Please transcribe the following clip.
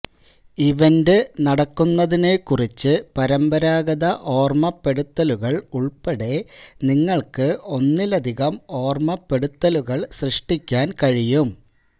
event നടക്കുന്നതിനെക്കുറിച്ച് പരമ്പരാഗത ഓർമ്മപ്പെടുത്തലുകൾ ഉൾപ്പെടെ നിങ്ങൾക്ക് ഒന്നിലധികം ഓർമ്മപ്പെടുത്തലുകൾ സൃഷ്ടിക്കാൻ കഴിയും